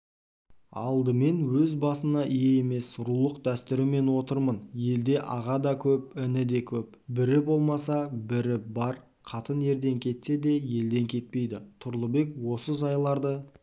алдымен өз басына ие емес рулық дәстүрімен отырмын елде аға да көп іні де көп бірі болмаса бірі бар қатын ерден кетсе де елден кетпейді тұрлыбек осы жайларды